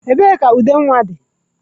Ebee ka ude nwa dị?